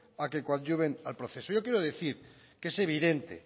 a que coadyuven al proceso yo quiero decir que es evidente